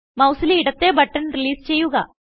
മൌസിലെ ഇടത്തെ button release ചെയ്യുക